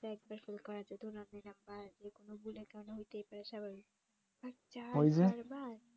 দু একবার ফেল করা যেত আপনি যেকোন ভুলের কারনে হতে পারে স্বাভাবিক